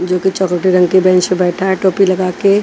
जो कि चॉकलेटी रंग के बेंच प बैठा है टोपी लगा के--